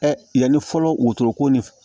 yanni fɔlɔ wulu ko ni